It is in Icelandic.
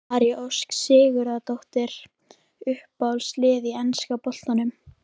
María Ósk Sigurðardóttir Uppáhalds lið í enska boltanum?